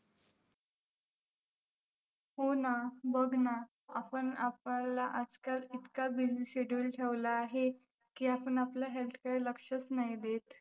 हो ना. बघ ना, आपण आपलं आजकाल इतका busy schedule ठेवला आहे की आपण आपल्या health कडे लक्षच नाही देत.